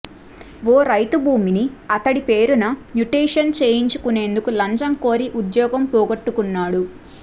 ఓ రైతు భూమిని అతడి పేరున మ్యుటేషన్ చేయించేందుకు లంచం కోరి ఉద్యోగం పోగొట్టుకున్నాడు